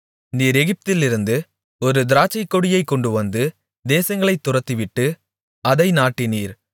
நீர் எகிப்திலிருந்து ஒரு திராட்சைக்கொடியைக் கொண்டுவந்து தேசங்களைத் துரத்திவிட்டு அதை நாட்டினீர்